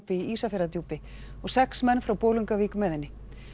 í Ísafjarðardjúpi og sex menn frá Bolungarvík með henni